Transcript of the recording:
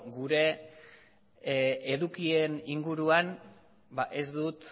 gure edukien inguruan ba ez dut